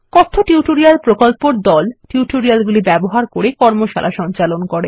কথ্য টিউটোরিয়াল প্রকল্পর দল টিউটোরিয়াল গুলি ব্যবহার করে কর্মশালা সঞ্চালন করে